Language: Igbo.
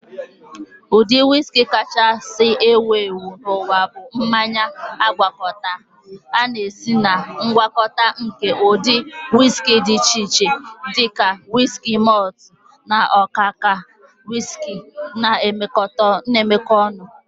Ụdị whiski kachasị ewu ewu n'ụwa bụ mmanya agwakọta. A na-esi na ngwakọta nke ụdị whiskey dị iche iche, dị ka wiski malt na ọka ọka whiski na-emekọ ọnụ